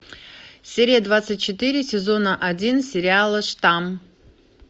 серия двадцать четыре сезона один сериала штамм